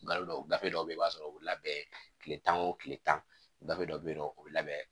Gafe dɔw bɛ yen i b'a sɔrɔ o labɛn tile tan o tile tan dɔ bɛ yen nɔ o bɛ labɛn